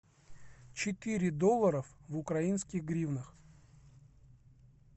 четыре доллара в украинских гривнах